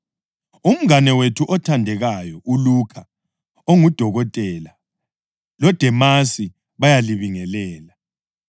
Umngane wethu othandekayo uLukha ongudokotela, loDemasi bayalibingelela.